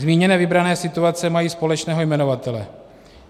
Zmíněné vybrané situace mají společného jmenovatele.